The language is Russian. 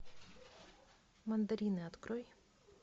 мандарины открой